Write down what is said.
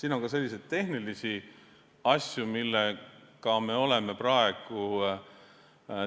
Siin on ka selliseid tehnilisi asju, millega me oleme